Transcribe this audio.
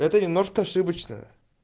это немножко ошибочное